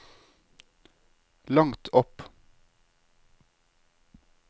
langt opp